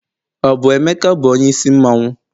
ọ bu emeka bu onye isi mmanwu?